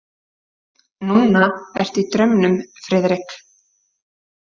Núna ertu í draumnum, Friðrik?